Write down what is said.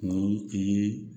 Ni i ye